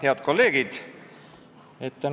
Head kolleegid!